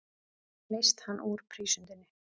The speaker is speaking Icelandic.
Leyst hann úr prísundinni.